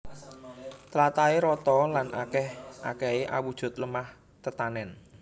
Tlatahé rata lan akèh akèhé awujud lemah tetanèn